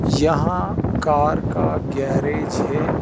यहां कार का गैरेज है।